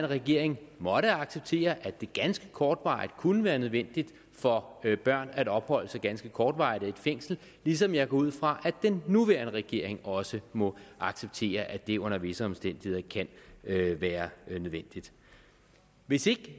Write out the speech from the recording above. regering måtte acceptere at det ganske kortvarigt kunne være nødvendigt for børn at opholde sig ganske kortvarigt i et fængsel ligesom jeg går ud fra at den nuværende regering også må acceptere at det under visse omstændigheder kan være nødvendigt hvis